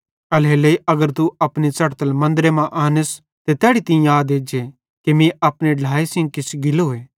एल्हेरेलेइ अगर तू अपनी च़ढ़तल मन्दरे मां आनस ते तैड़ी तीं याद एज्जे कि मीं अपने ढ्लाए सेइं किछ गिलोए